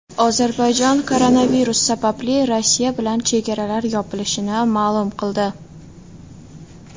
Ozarbayjon koronavirus sababli Rossiya bilan chegaralar yopilishini ma’lum qildi.